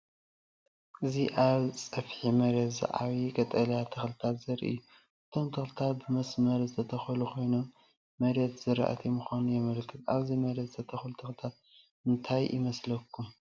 እዚ ኣብ ጸፍሒ መሬት ዝዓብዩ ቀጠልያ ተኽልታት ዘርኢ እዩ። እቶም ተኽልታት ብመስርዕ ዝተተኽሉ ኮይኖም፡ መሬት ዝራእቲ ምዃኑ የመልክት። ኣብዚ መሬት ዝተተኽሉ ተኽልታት እንታይ ይመስለኩም?